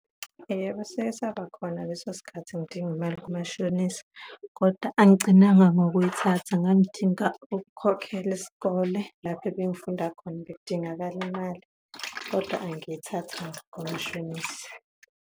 Yebo, sikesaba khona leso sikhathi ngidinga imali kumashonisa kodwa angigcinanga ngokuyithatha, ngangidinga ukukhokhela isikole. Lapho ebengifunda khona, bekudingakala imali kodwa angiyithathanga komashonisa.